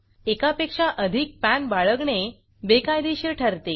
एकापेक्षा अधिक पॅन बाळगणे बेकायदेशीर ठरते